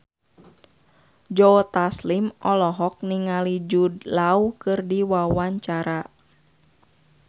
Joe Taslim olohok ningali Jude Law keur diwawancara